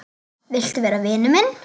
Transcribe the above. Vilt þú vera vinur minn?